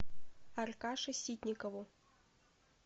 аркаше ситникову